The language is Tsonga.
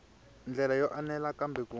ndlela yo enela kambe ku